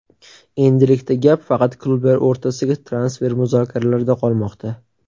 Endilikda gap faqat klublar o‘rtasidagi transfer muzokaralarida qolmoqda.